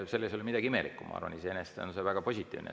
Selles ei ole midagi imelikku, ma arvan, iseenesest on see väga positiivne.